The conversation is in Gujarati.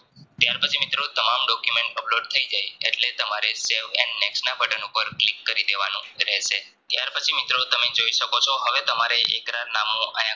મિત્રો તમામ Document upload થઇ જાય એટલે તમારે save and Next ના બટન ઉપર click કરી દેવાનું રહેશે ત્યાર પછી તમે જોઈ સક્સો છો હવે તમારે કેકરાર નમું આયા